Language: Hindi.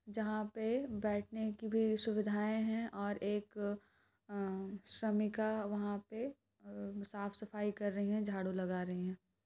जहां पे बेठने की भी सुविधाये है और एक अ श्रमिका वहाँ पे अम साफ़सफ़ाई कर रही है झाड़ू लगा रही है।